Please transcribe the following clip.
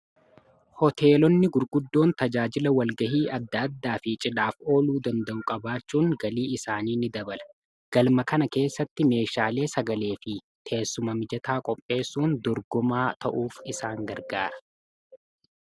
hooteelonni gurguddoon tajaajila walgahii adda addaa fi cidhaaf ooluu danda'u-qabaachuun galii isaanii ni dabala galma kana keessatti meeshaalee sagalee fi teessumamijataa qopheessuun dorgumaa ta'uuf isaan gargaara